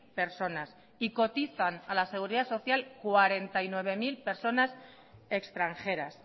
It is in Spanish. personas y cotizan a la seguridad social cuarenta y nueve mil personas extranjeras